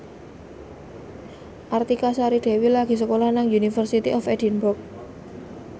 Artika Sari Devi lagi sekolah nang University of Edinburgh